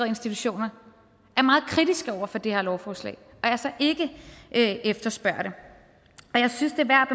institutioner er meget kritiske over for det her lovforslag og altså ikke efterspørger det jeg synes det er værd